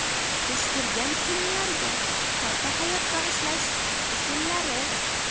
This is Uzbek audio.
Eskirgan kiyimlarga qayta hayot bag‘ishlash usullari.